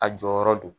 A jɔyɔrɔ do